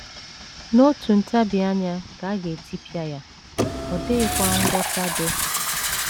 “ N’otu ntabi anya ka a ga - etipịa ya, ọ dịghịkwa ngwọta dị. ”